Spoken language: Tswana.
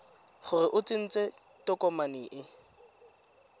gore o tsentse tokomane e